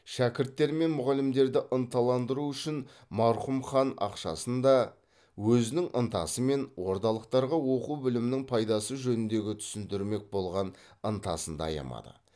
шәкірттер мен мұғалімдерді ынталандыру үшін марқұм хан ақшасын да өзінің ынтасы мен ордалықтарға оқу білімнің пайдасы жөнінде түсіндірмек болған ынтасын да аямады